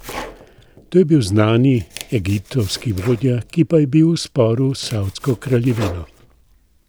To je bil znani egiptovski vodja, ki pa je bil v sporu s savdsko kraljevino.